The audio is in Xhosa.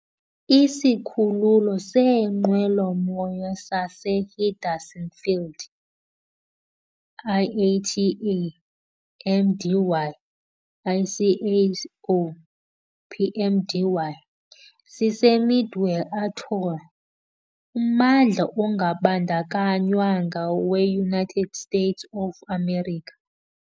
Isikhululo seenqwelomoya saseHenderson Field, IATA - MDY, ICAO - PMDY, siseMidway Atoll, ummandla ongabandakanywanga weUnited States of America.